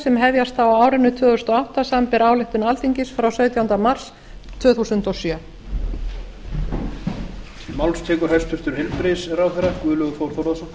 sem hefjast á á árinu tvö þúsund og átta samanber ályktun alþingis frá sautjándu mars tvö þúsund og sjö